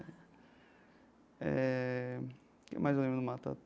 Eh o que mais eu lembro do